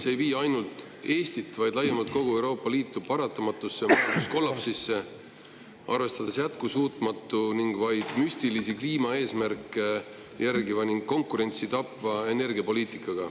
See ei vii ainult Eestit, vaid laiemalt kogu Euroopa Liitu paratamatusse kollapsisse, see jätkusuutmatu ning vaid müstilisi kliimaeesmärke jälgiv ning konkurentsi tappev energiapoliitika.